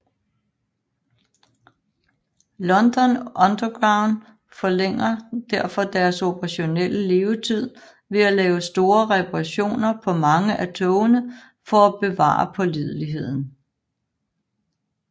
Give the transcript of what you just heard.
London Underground forlænger derfor deres operationelle levetid ved at lave store reparationer på mange af togene for at bevare pålideligheden